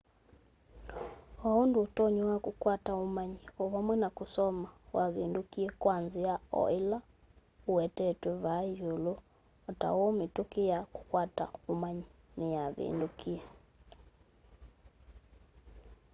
o undu utonyi wa kukwata umanyi o vamwe na kusoma wavindukie kwa nzia o ila iwetetwe vaa yiulu o ta uu mituki ya kukwata umanyi niyavindukie